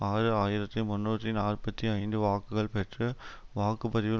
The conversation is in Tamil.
ஆறு ஆயிரத்தி முன்னூற்றி நாற்பத்தி ஐந்து வாக்குகள் பெற்று வாக்கு பதிவில்